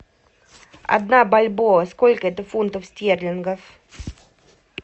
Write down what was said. одна бальбоа сколько это фунтов стерлингов